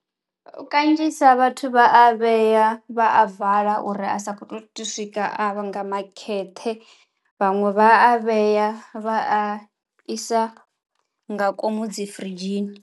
Kanzhisa vhathu vha a vhea vha a vala uri a sa kho to swika a nga makheṱhe, vhaṅwe vha a vhea vha a isa nga komu dzi firidzhini.